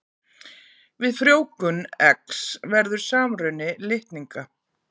Við frjóvgun eggs verður samruni litninga.